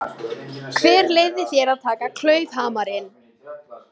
Hver leyfði þér að taka klaufhamarinn?